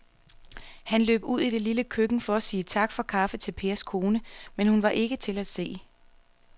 Han løb ud i det lille køkken for at sige tak for kaffe til Pers kone, men hun var ikke til at se.